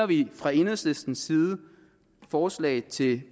vi fra enhedslistens side et forslag til